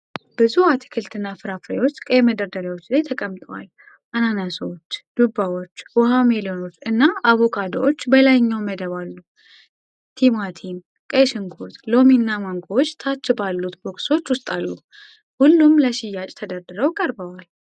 ብዙ አትክልትና ፍራፍሬዎች ቀይ መደርደሪያዎች ላይ ተቀምጠዋል። አናናሶች፣ ዱባዎች፣ ዉሃ ሜሎኖች እና አቮካዶዎች በላይኛዉ መደብ አሉ። ቲማቲም፣ ቀይ ሽንኩርት፣ ሎሚና ማንጎዎች ታች ባሉት ቦክሶች ውስጥ አሉ። ሁሉም ለሽያጭ ተደርድረው ቀርበዋል።